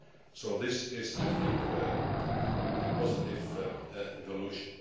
So this is, I think, a positive evolution.